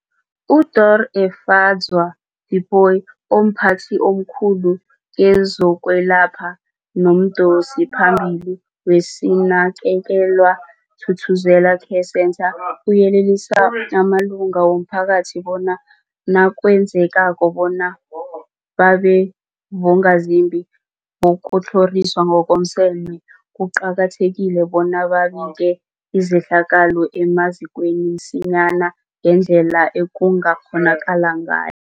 UDorh Efadzwa Tipoy, omphathi omkhulu kezokwelapha nomdosiphambili weSinakekelwe Thuthuzela Care Centre, uyelelise amalunga womphakathi bona nakwenzekako bona babe bongazimbi bokutlhoriswa ngokomseme, kuqakathekile bona babike izehlakalo emazikweni msinyana ngendlela ekungakghonakala ngayo.